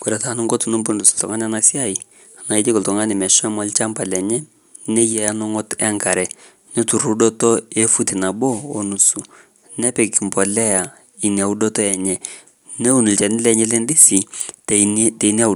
Kore taa ninko tenimpundus ltungani ana siai naa ijiko ltungani meshomo ilshamba lenye neyaa eneng'ot enkare netur udoto efuti nabo onusu, nepik mpolea ina udoto enye. Neun ilchani lenye endisi tenia